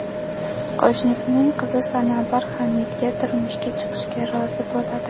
Qo‘shnisining qizi Sanobar Hamidga turmushga chiqishga rozi bo‘ladi.